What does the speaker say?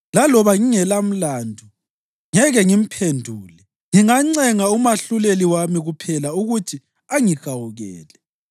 Laloba ngingelamlandu, ngeke ngimphendule; ngingancenga uMahluleli wami kuphela ukuthi angihawukele.